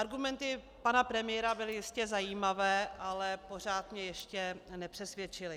Argumenty pana premiéra byly jistě zajímavé, ale pořád mě ještě nepřesvědčily.